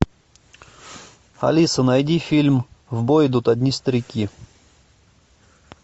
алиса найди фильм в бой идут одни старики